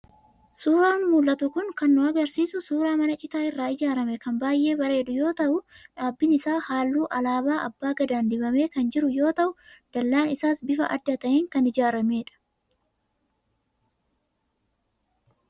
Suuraan mul'atu kun kan nu agarsiisu suuraa mana citaa irraa ijaaramee kan baay'ee bareedu yoo ta'u, dhaabbiin isaa halluu alaabaa abbaa gadaan dibamee kan jiru yoo ta'u, dallaan isaas bifa adda ta'een kan ijaaramedha.